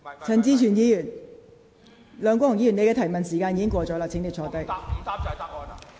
梁國雄議員，你的提問時間已過，請坐下。